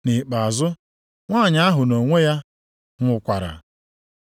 Nʼikpeazụ, nwanyị ahụ nʼonwe ya nwụkwara.